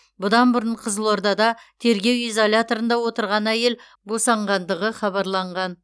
бұдан бұрын қызылордада тергеу изоляторында отырған әйел босанғанғандығын хабарланған